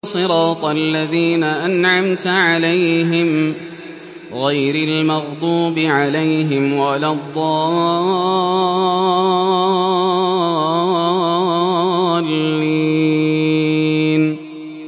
صِرَاطَ الَّذِينَ أَنْعَمْتَ عَلَيْهِمْ غَيْرِ الْمَغْضُوبِ عَلَيْهِمْ وَلَا الضَّالِّينَ